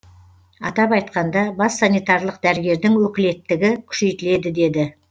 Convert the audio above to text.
атап айтқанда бас санитарлық дәрігердің өкілеттігі күшейтіледі деді